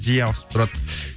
жиі ауысып тұрады